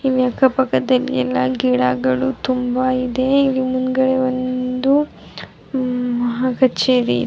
ಇಲ್ಲಿ ಅಕ್ಕಪಕ್ಕದಲ್ಲಿ ಎಲ್ಲ ಗಿಡಗಳು ತುಂಬ ಇದೆ ಇಲ್ಲಿ ಮುಂದ್ಗಡೆ ಒಂದು ಮಹಾಕಚೇರಿ --.